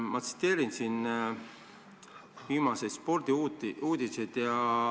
Ma tsiteerin siin viimaseid spordiuudiseid.